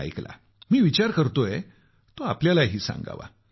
मी ऐकला मी विचार करतोय तो आपल्यालाही सांगावा